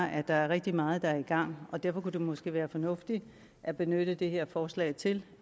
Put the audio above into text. at der er rigtig meget der er i gang derfor kunne det måske være fornuftigt at benytte det her forslag til